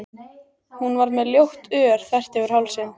Hún var með ljótt ör þvert yfir hálsinn.